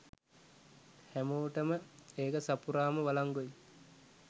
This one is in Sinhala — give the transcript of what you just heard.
හැමෝටම ඒක සපුරාම වලංගුයි.